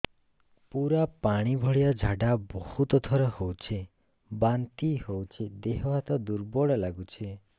ପୁରା ପାଣି ଭଳିଆ ଝାଡା ବହୁତ ଥର ହଉଛି ବାନ୍ତି ହଉଚି ଦେହ ହାତ ଦୁର୍ବଳ ଲାଗୁଚି